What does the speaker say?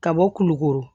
Ka bɔ kulukoro